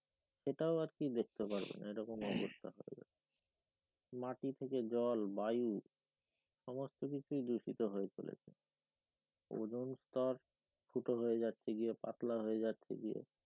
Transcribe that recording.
সেটাও আর কি দেখতে পারবে না এমন অবস্থা মাটি থেকে জল বায়ু সমস্থ কিছু দূষিত হয়ে চলেছে ওজন স্তর ফুটো হয়ে গিয়ে যাচ্ছে পাতলা হয়ে যাচ্ছে গিয়ে